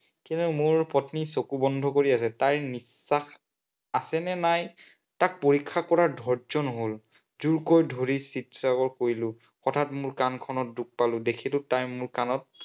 মোৰ পত্নী চকু বন্ধ কৰি আছে। তাইৰ নিশ্বাস আছেনে নাই তাক পৰীক্ষা কৰাৰ ধৈৰ্য নহল। জোৰকৈ ধৰি চিৎকাৰ কৰিলো। হঠাৎ মোৰ কাণখনত দুখ পালো। দেখিলো তাই মোৰ কাণৰ